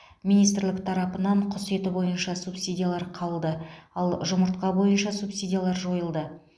министрлік тарапынан құс еті бойынша субсидиялар қалды ал жұмыртқа бойынша субсидиялар жойылды